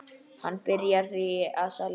Hann byrjaði því að selja.